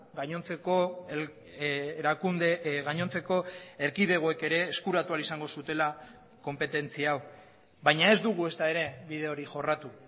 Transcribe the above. gainontzeko erakunde gainontzeko erkidegoek ere eskuratu ahal izango zutela konpetentzia hau baina ez dugu ezta ere bide hori jorratu